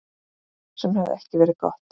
Sem hefði ekki verið gott.